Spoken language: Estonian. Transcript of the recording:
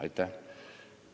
Aitäh!